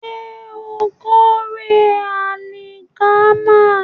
Ṣé ó ń kórè àlìkámà?